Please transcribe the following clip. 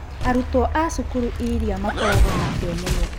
Arutwo a cukuru irĩa makoragwo na kĩo mũno.